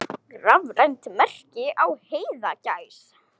Rafrænt merki á heiðagæs.